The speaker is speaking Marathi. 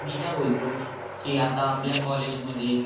मी काय बोलतो कि आता आपल्या कॉलेज मध्ये